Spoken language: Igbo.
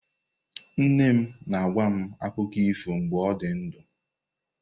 Nne nne m na-agwa m akụkọ ifo mgbe ọ dị ndụ.